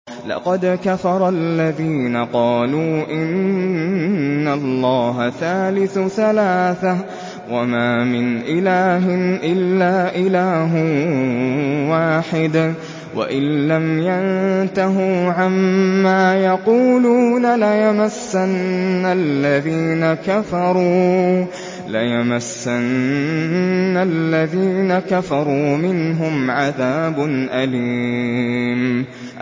لَّقَدْ كَفَرَ الَّذِينَ قَالُوا إِنَّ اللَّهَ ثَالِثُ ثَلَاثَةٍ ۘ وَمَا مِنْ إِلَٰهٍ إِلَّا إِلَٰهٌ وَاحِدٌ ۚ وَإِن لَّمْ يَنتَهُوا عَمَّا يَقُولُونَ لَيَمَسَّنَّ الَّذِينَ كَفَرُوا مِنْهُمْ عَذَابٌ أَلِيمٌ